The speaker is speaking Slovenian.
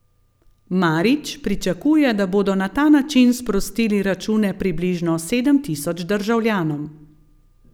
Marić pričakuje, da bodo na ta način sprostili račune približno sedem tisoč državljanom.